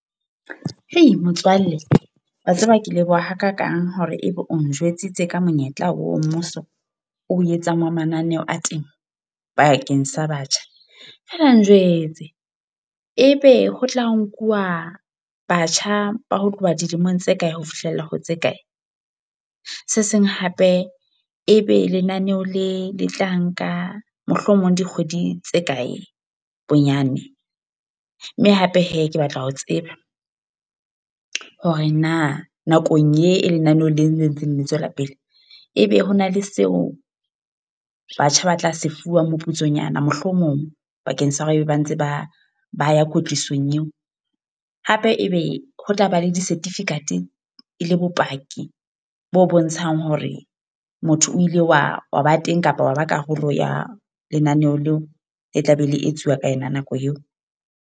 Hei! Motswalle, wa tseba ke leboha ha kakang hore ebe o njwetsitse ka monyetla wa ho mmuso, o etsang wa mananeo a temo bakeng sa batjha. Feela njwetse, e be ho tla nkuwa batjha ba ho tloha dilemong tse kae, ho fihlella ho tse kae? Se seng hape, e be lenaneho le le tla nka mohlomong dikgwedi tse kae bonyane? Mme hape he, ke batla ho tseba. Hore na nakong e e lenaneo lena le ntseng le tswela pele. E be hona le seo batjha ba tla se fuwang moputsonyana mohlomong bakeng sa hore ebe ba ntse ba ba ya kwetlisong eo? Hape e be ho tlaba le di-certificate e le bopaki bo bontshang hore motho o ile wa wa ba teng kapa wa ba karolo ya lenaneho leo le tla be e le etsuwa ka yona nako eo?